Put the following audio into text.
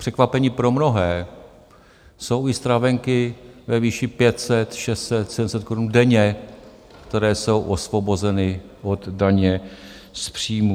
Překvapení pro mnohé - jsou i stravenky ve výši 500, 600, 700 Kč denně, které jsou osvobozeny od daně z příjmů.